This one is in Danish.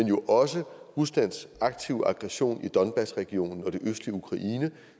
jo også ruslands aktive aggression i donbass regionen og det østlige ukraine